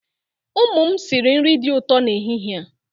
Ụmụ m sịrị nri dị ụtọ n'ehihie a.